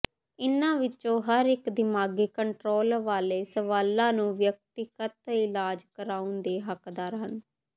ਇਨ੍ਹਾਂ ਵਿੱਚੋਂ ਹਰ ਇੱਕ ਦਿਮਾਗੀ ਕੰਟਰੋਲ ਵਾਲੇ ਸਵਾਲਾਂ ਨੂੰ ਵਿਅਕਤੀਗਤ ਇਲਾਜ ਕਰਵਾਉਣ ਦੇ ਹੱਕਦਾਰ ਹਨ